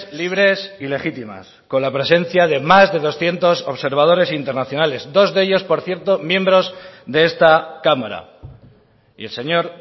libres y legítimas con la presencia de más de doscientos observadores internacionales dos de ellos por cierto miembros de esta cámara y el señor